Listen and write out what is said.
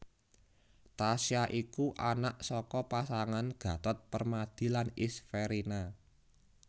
Tasya iku anak saka pasanganGatot Permadi lan Isverina